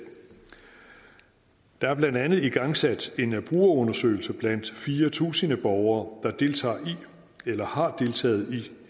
der er blandt andet igangsat en brugerundersøgelse blandt fire tusind borgere der deltager i eller har deltaget i